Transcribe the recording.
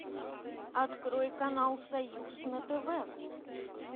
открой канал союз на тв